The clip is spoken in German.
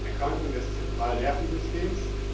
Das ist eine Erkrankung des zentralen Nervensystems.